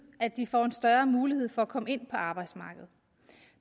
at de får en større mulighed for at komme ind på arbejdsmarkedet